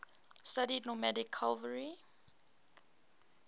studied nomadic cavalry